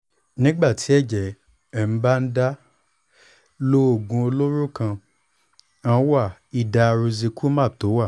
nígbà tí ẹ̀jẹ̀ bá ń bá ń dà lọ́ oògùn olóró kan wà idarucizumab tó wà